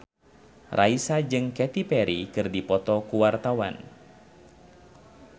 Raisa jeung Katy Perry keur dipoto ku wartawan